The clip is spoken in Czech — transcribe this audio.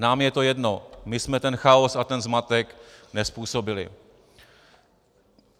Nám je to jedno, my jsme ten chaos a ten zmatek nezpůsobili.